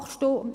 Dort steht: